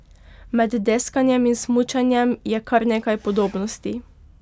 Med deskanjem in smučanjem je kar nekaj podobnosti.